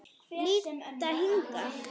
Líta hingað!